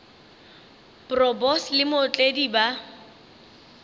bro boss le mootledi ba